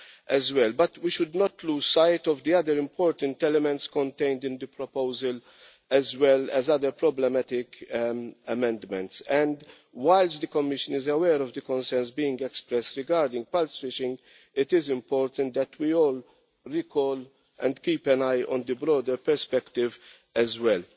However, we should not lose sight of the other important elements contained in the proposal, as well as other problematic amendments. Whilst the Commission is aware of the concerns being expressed regarding pulse fishing, it is important that we all recall and keep an eye on the broader perspective as well.